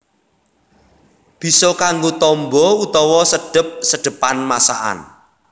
Bisa kanggo tamba utawa sedhep sedhepan masakan